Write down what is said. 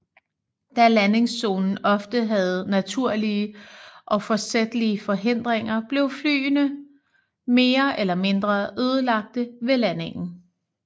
Da landingszonen ofte havde naturlige og forsætlige forhindringer blev flyene mere eller mindre ødelagte ved landingen